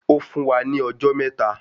Ó fún wa ní ọjọ́ mẹ́ta.